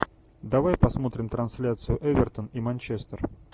давай посмотрим трансляцию эвертон и манчестер